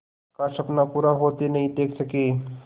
का सपना पूरा होते नहीं देख सके